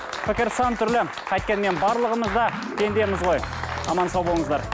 пікір сан түрлі қайткенмен барлығымыз да пендеміз ғой аман сау болыңыздар